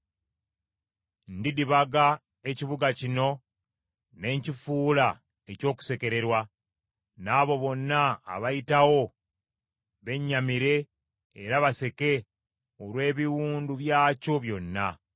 Ndidibaga ekibuga kino ne nkifuula eky’okusekererwa, n’abo bonna abayitawo bennyamire era baseke olw’ebiwundu byakyo byonna.